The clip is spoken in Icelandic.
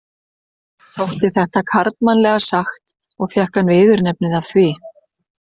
Þótti þetta karlmannlega sagt og fékk hann viðurnefnið af því.